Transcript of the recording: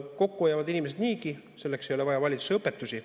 Kokku hoiavad inimesed niigi, selleks ei ole vaja valitsuse õpetusi.